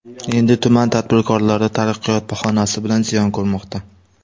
Endi tuman tadbirkorlari ‘taraqqiyot’ bahonasi bilan ziyon ko‘rmoqda.